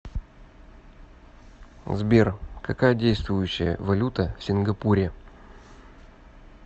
сбер какая действующая валюта в сингапуре